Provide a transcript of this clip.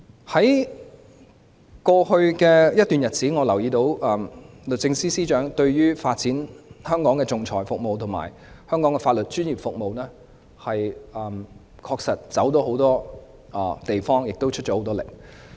在過去一段日子，我留意到律政司司長為了發展香港的仲裁服務及香港的法律專業服務，確實走訪了很多地方，亦很努力。